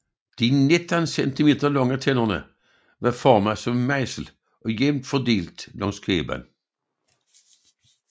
De 19 centimeter lange tænder var formet som en mejsel og jævnt fordelt langs kæben